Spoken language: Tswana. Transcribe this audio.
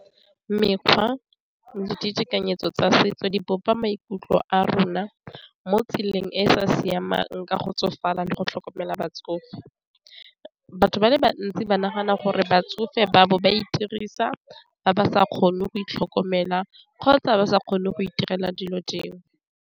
Mekgwa le ditekanyetso tsa setso di bopa maikutlo a rona mo tseleng e e sa siamang ka go tsofala le go tlhokomela batsofe, batho ba le bantsi ba nagana gore batsofe ba bo ba itirisa ba ba sa kgone go itlhokomela kgotsa ba sa kgone go itirela dilo dingwe.